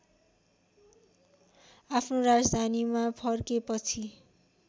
आफ्नो राजधानीमा फर्केपछि